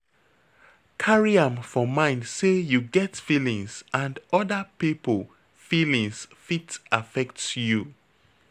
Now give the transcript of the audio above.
Carry am for mind sey you get feelings and oda pipo feelings fit affect you